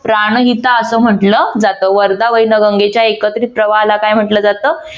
प्राणहिता असं म्हटलं जात. वर्धा वैनगंगेच्या एकत्रित प्रवाहाला काय म्हटलं जात?